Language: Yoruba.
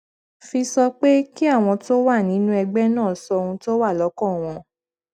fi sọ pé kí àwọn tó wà nínú ẹgbé náà sọ ohun tó wà lókàn wọn